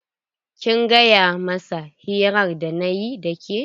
Kin gaya masa hirar da nayi da ke?